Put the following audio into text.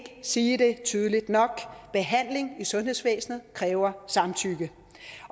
sige det tydeligt nok behandling i sundhedsvæsenet kræver samtykke